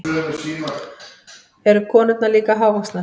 Eru konurnar líka hávaxnar?